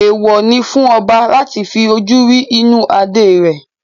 Èèwò ni fún ọba láti fi ojú rí inú adé rẹ̀